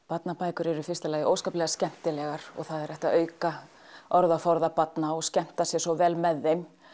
barnabækur eru í fyrsta lagi ótrúlega skemmtilegar og það er hægt að auka orðaforða barna og skemmta sér svo vel með þeim